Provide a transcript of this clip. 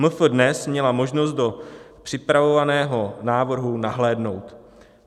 MF DNES měla možnost do připravovaného návrhu nahlédnout.